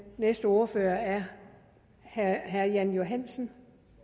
næste ordfører er herre jan johansen